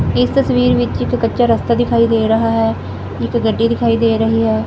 ਇਸ ਤਸਵੀਰ ਵਿੱਚ ਇੱਕ ਕੱਚਾ ਰਸਤਾ ਦਿਖਾਈ ਦੇ ਰਹਾ ਹੈ ਇੱਕ ਗੱਡੀ ਦਿਖਾਈ ਦੇ ਰਹੀ ਐ।